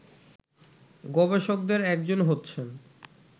গবেষকদের একজন হচ্ছেন